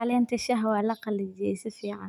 Caleenta shaaha waa la qalajiyey si fican.